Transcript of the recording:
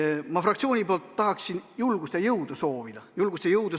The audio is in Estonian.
Ma tahan oma fraktsiooni nimel neile julgust ja jõudu soovida.